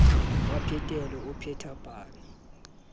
wa phetelo o pheta pale